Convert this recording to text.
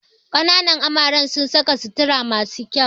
Kananan amaren sun saka sutura masu kyau